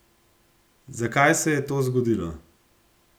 Zakaj se je to zgodilo?